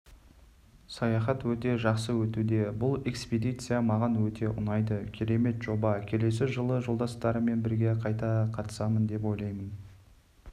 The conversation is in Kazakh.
саяхат өте жақсы өтуде бұл экспедиция маған өте ұнайды керемет жоба келесі жылы жолдастарыммен бірге қайта қатысамын деп ойлаймын